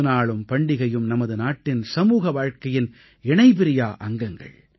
திருநாளும் பண்டிகையும் நமது நாட்டின் சமூக வாழ்க்கையின் இணைபிரியா அங்கங்கள்